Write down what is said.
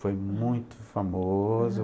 Foi muito famoso.